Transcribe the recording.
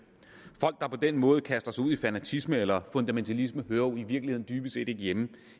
folk der på den måde kaster sig ud i fanatisme eller fundamentalisme hører jo i virkeligheden dybest set ikke hjemme